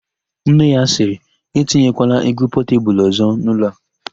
Nne ya sịrị, "etinyekwala égwú Pọtebulu ọ̀zọ́ n'ụlọ a "!